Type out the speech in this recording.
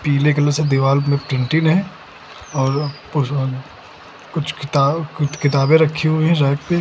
पीले कलर से दीवार पर पेंटिंग है और किताब कुछ किताबें रखी हुई है रैक पे।